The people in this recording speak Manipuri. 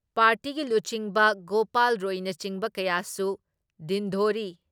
ꯄꯥꯔꯇꯤꯒꯤ ꯂꯨꯆꯤꯡꯕ ꯒꯣꯄꯥꯜ ꯔꯣꯏꯅꯆꯤꯡꯕ ꯀꯌꯥꯁꯨ ꯗꯤꯟꯗꯣꯔꯤ